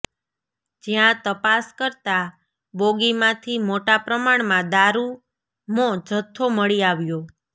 જ્યાં તપાસ કરતા બોગીમાંથી મોટા પ્રમાણમાં દારૂમો જથ્થો મળી આવ્યો